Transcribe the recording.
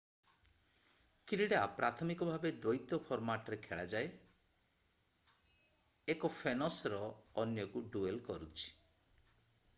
କ୍ରୀଡା ପ୍ରାଥମିକଭାବେ ଦୈତ୍ୟ ଫର୍ମାଟରେ ଖେଳା ଯାଏ 1ଫେନସର ଅନ୍ୟକୁ ଡୁଏଲ୍ କରୁଛି